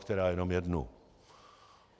Málokterá jenom jednu.